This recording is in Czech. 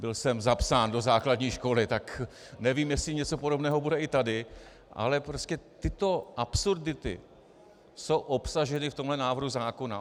Byl jsem zapsán do základní školy, tak nevím, jestli něco podobného bude i tady, ale prostě tyto absurdity jsou obsaženy v tomhle návrhu zákona.